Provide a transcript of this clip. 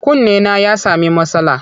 Kunnena ya sami matsala.